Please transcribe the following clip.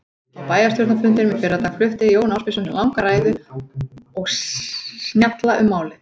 Á bæjarstjórnarfundinum í fyrradag flutti Jón Ásbjörnsson langa ræðu og snjalla um málið.